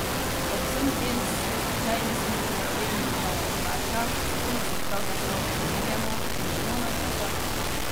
Ob vsem tem se običajni smrtnik vedno znova vpraša, s kom se pravzaprav primerjamo in kdo nam je vzor?